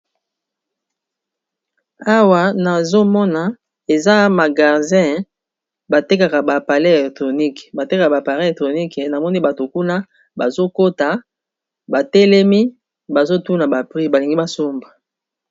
Awa nazomona eza magasin batekaka ba appareil électronique batu batelemi Kuna bazo tuna ba prix ba somba